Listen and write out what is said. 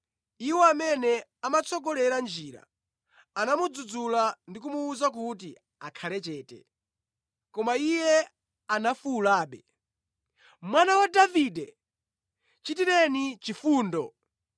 Iwo amene amamutsogolera njira anamudzudzula ndi kumuwuza kuti akhale chete, koma iye anafuwulabe, “Mwana wa Davide, chitireni chifundo!”